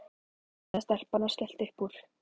sagði stelpan og skellti upp úr.